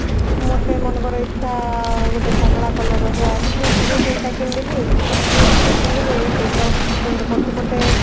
ମତେ ମନେକର ଇଚ୍ଛା ଗୋଟେ କମଳା color ର hair ମୁଁ ଦୁଇ ତିନିଟା କିଣିଦେଲି strip କୁ କିଣିଦେଲି ଏଇତ ମୁଣ୍ଡ ପଛ ପଟେ